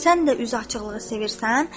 Sən də üz açıqlığı sevirsən?